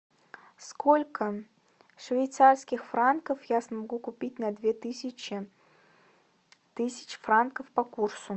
сколько швейцарских франков я смогу купить на две тысячи тысяч франков по курсу